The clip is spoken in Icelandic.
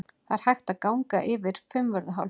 Það er hægt að ganga yfir Fimmvörðuháls.